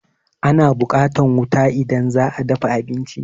Ana buƙatan wuta idan za a dafa abinci.